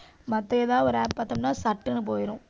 மத்த எதாவது ஒரு app பாத்தோம்னா, சட்டுன்னு போயிரும்.